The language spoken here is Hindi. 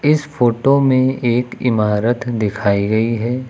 इस फोटो में एक इमारत दिखाई गई है।